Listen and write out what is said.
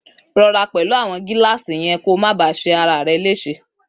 Rọra pẹlu awon gílàsi yen kó ma bà ṣe ràrẹ lese.